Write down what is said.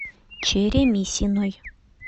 черемисиной